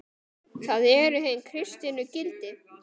Það eru hin kristnu gildi.